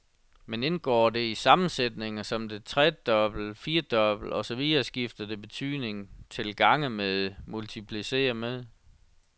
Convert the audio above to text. Men indgår det i sammensætninger som tredoble, firdoble og så videre skifter det betydning til gange med, multiplicere med.